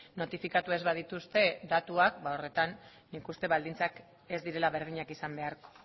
notifikatu ez badituzte datuak horretan nik uste baldintzak ez direla berdinak izan beharko